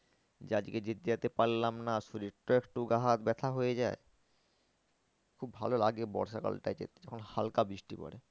যে আজকে যেতে পারলাম না শরীরটা একটু গা হাত ব্যাথা হয়ে যায়। খুব ভালো লাগে বর্ষাকালটায় যেতে যখন হালকা বৃষ্টি পরে।